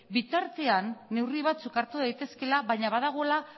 bitartean neurri batzuk hartu daitezkeela baina badagoela